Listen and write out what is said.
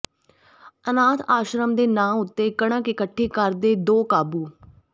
ਅਨਾਥ ਆਸ਼ਰਮ ਦੇ ਨਾਂ ਉੱਤੇ ਕਣਕ ਇਕੱਠੀ ਕਰਦੇ ਦੋ ਕਾਬੂ